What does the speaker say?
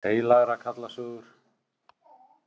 Heilagra karla sögur.